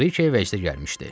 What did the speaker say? Brike vəcdə gəlmişdi.